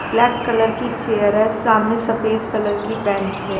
Black colour की chair है सामने सफेद कलर की बँच है।